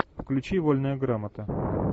включи вольная грамота